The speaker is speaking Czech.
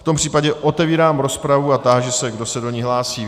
V tom případě otevírám rozpravu a táži se, kdo se do ní hlásí.